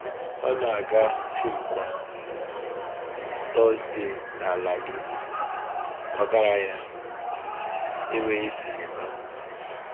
Ọ na-aga fim kwa Tọzdee n’ala gị, ọgaranya, enweghị sinima.